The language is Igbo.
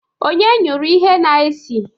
Onye nyụrụ ihe a na-esi?